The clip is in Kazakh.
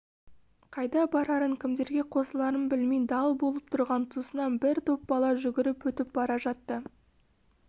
қайда барарын кімдерге қосыларын білмей дал болып тұрған тұсынан бір топ бала жүгіріп өтіп бара жатты